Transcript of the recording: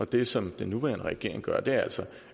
det som den nuværende regering gør er altså